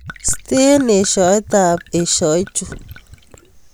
Sten eshaetab eshaichu